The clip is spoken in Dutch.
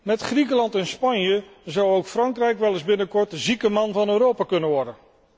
Met Griekenland en Spanje zou ook Frankrijk wel eens binnenkort de zieke man van Europa kunnen worden.